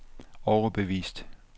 overbevist